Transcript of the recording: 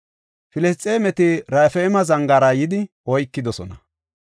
Filisxeemeti Raafayme zangaara yidi oykidosona.